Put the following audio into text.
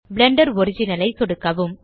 Blender original ஐ சொடுக்கவும்